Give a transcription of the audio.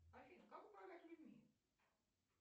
афина как управлять людьми